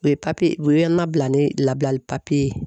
O ye papiye o ye an nabila ni labilali papiye ye.